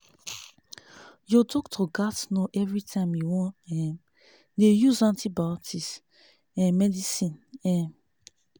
ur doctor gats know everytime u wan um dey use antibiotics um medicine um